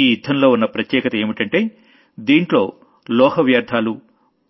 ఈ యుద్ధంలో ఉన్న ప్రత్యేకత ఏంటంటే దీంట్లో లోహ వ్యర్థాలు